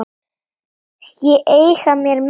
Ég eigna mér menn.